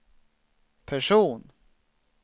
person